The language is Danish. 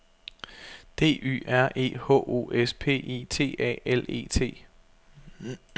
D Y R E H O S P I T A L E T